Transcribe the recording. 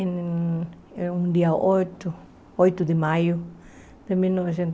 Em um dia oito oito de maio